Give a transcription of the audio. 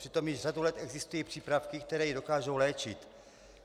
Přitom již řadu let existují přípravky, které ji dokážou léčit.